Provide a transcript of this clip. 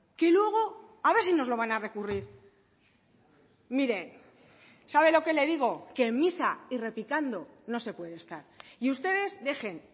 que luego a ver si nos lo van a recurrir mire sabe lo que le digo que en misa y repicando no se puede estar y ustedes dejen